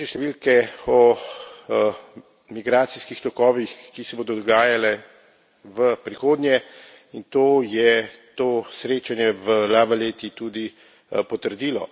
različne številke o migracijskih tokovih, ki se bodo dogajali v prihodnje, in to je to srečanje v La Valetti tudi potrdilo.